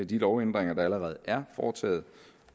de lovændringer der allerede er foretaget